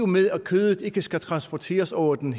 med at kødet ikke skal transporteres over den